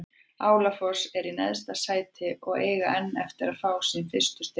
Álafoss er í neðsta sæti og eiga enn eftir að fá sín fyrstu stig.